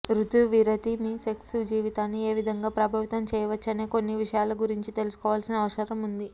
రుతువిరతి మీ సెక్స్ జీవితాన్ని ఏ విధంగా ప్రభావితం చేయవచ్చు అనే కొన్ని విషయాల గురించి తెలుసుకోవలసిన అవసరం ఉంది